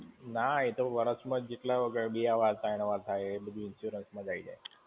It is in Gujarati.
ના એ તો વર્ષમાં જેટલી વાર થાય, એક વાર, બે વાર, ત્રણ વાર થાય એ બધું insurance માં જ આઈ જાય.